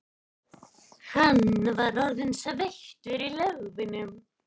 Hann var orðinn sveittur í lófunum.